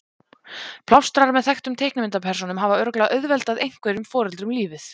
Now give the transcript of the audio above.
Plástrar með þekktum teiknimyndapersónum hafa örugglega auðveldað einhverjum foreldrum lífið.